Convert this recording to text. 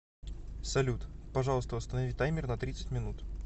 салют пожалуйста установи таймер на тридцать минут